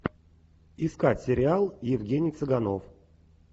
искать сериал евгений цыганов